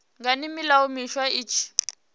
ngani milayo miswa i tshi